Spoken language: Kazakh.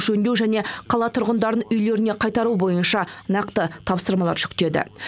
жөндеу және қала тұрғындарын үйлеріне қайтару бойынша нақты тапсырмалар жүктеді